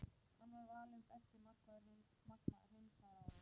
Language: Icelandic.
Hann var valinn besti markvörður heims það árið.